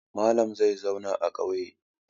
Malam zai zauna a ƙauye.